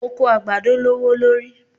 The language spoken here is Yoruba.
Oko àgbàdo lówó lórí.